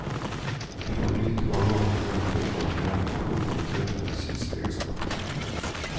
Vi får vite hva mat inneholder av næring og dokumenterte medisinske egenskaper.